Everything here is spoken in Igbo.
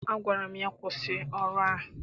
Agwara m ya, kwụsị ọrụ ahụ!